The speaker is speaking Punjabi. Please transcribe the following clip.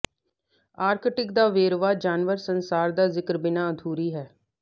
ਆਰਕਟਿਕ ਦਾ ਵੇਰਵਾ ਜਾਨਵਰ ਸੰਸਾਰ ਦਾ ਜ਼ਿਕਰ ਬਿਨਾ ਅਧੂਰੀ ਹੈ